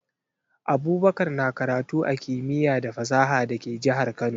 Abubakar na karatu a Kimiya da fasaha da ke jahar Kano